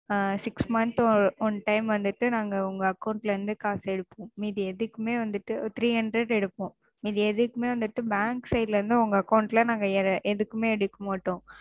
ஆ Six month one time வந்துட்டு நாங்க உங்க Account ல இருந்து காசு எடுப்போம். மீதி எதுக்குமே வந்துட்டு Three hundred எடுப்போம். மீதி எதுக்குமே வந்துட்டு Bank side ல இருந்து உங்க Account ல நாங்க எதுக்குமே எடுக்க மாட்டோம்.